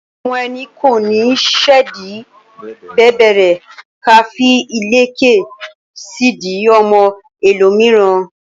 Ọmọ ẹni kò ní ṣèdí bẹ̀bẹ̀rẹ̀ ká fí ìlẹ̀kẹ̀ sí ìdí ọmọ ẹ lò míràn